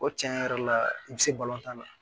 O cɛn yɛrɛ la i bɛ se tan na